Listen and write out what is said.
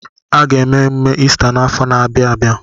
Aga eme emume Ista n'afọ na-abịa abịa.